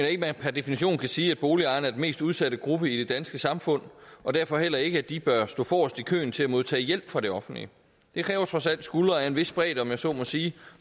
at man per definition kan sige at boligejerne er den mest udsatte gruppe i det danske samfund og derfor heller ikke at de bør stå forrest i køen til at modtage hjælp fra det offentlige det kræver trods alt skuldre af en vis bredde om jeg så må sige